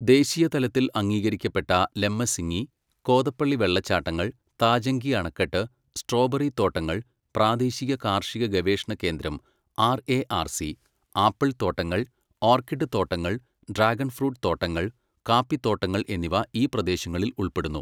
ദേശീയതലത്തിൽ അംഗീകരിക്കപ്പെട്ട ലമ്മസിങ്ങി, കോതപ്പള്ളി വെള്ളച്ചാട്ടങ്ങൾ, താജങ്കി അണക്കെട്ട്, സ്ട്രോബെറി തോട്ടങ്ങൾ, പ്രാദേശിക കാർഷിക ഗവേഷണ കേന്ദ്രം R A R C, apple തോട്ടങ്ങൾ, ഓർക്കിഡ് തോട്ടങ്ങൾ, ഡ്രാഗൺ ഫ്രൂട്ട് തോട്ടങ്ങൾ, കാപ്പിത്തോട്ടങ്ങൾ എന്നിവ ഈ പ്രദേശങ്ങളിൽ ഉൾപ്പെടുന്നു.